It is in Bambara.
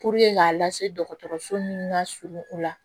k'a lase dɔgɔtɔrɔso min ka surun u la